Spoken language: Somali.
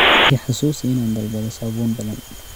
i xasuusi inaan dalbado saabuun badan